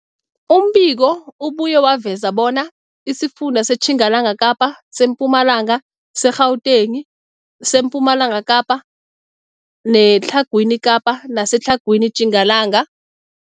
Umbiko ubuye waveza bona isifunda seTjingalanga Kapa, seMpumalanga, seGauteng, sePumalanga Kapa, seTlhagwini Kapa neseTlhagwini Tjingalanga.